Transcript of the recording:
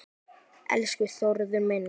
Elsku Þórður minn.